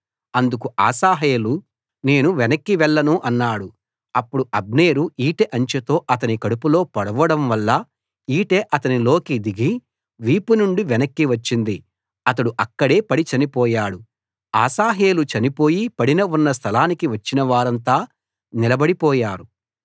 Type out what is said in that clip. అందుకు అశాహేలు నేను వెనక్కి వెళ్ళను అన్నాడు అప్పుడు అబ్నేరు ఈటె అంచుతో అతని కడుపులో పొడవడం వల్ల ఈటె అతనిలోకి దిగి వీపు నుండి వెనక్కి వచ్చింది అతడు అక్కడే పడి చనిపోయాడు అశాహేలు చనిపోయి పడిన ఉన్న స్థలానికి వచ్చిన వారంతా నిలబడి పోయారు